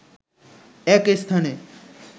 এক স্থানে